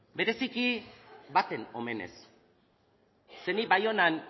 bereziki baten omenez ze ni baionan